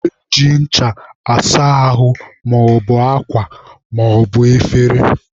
Eji ncha asa ahụ maọbụ akwa maọbụ efere.